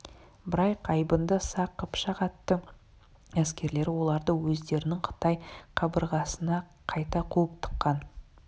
бірақ айбынды сақ қыпшақ атты әскерлері оларды өздерінің қытай қабырғасынақайта қуып тыққан